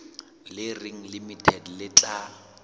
le reng limited le tla